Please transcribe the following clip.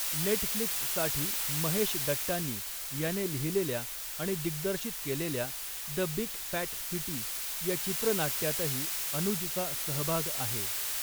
नेटफ्लिक्ससाठी महेश डट्टानी याने लिहिलेल्या आणि दिग्दर्शित केलेल्या 'द बिग फॅट सिटी' या चित्र नाट्यातही अनुजचा सहबाग आहे.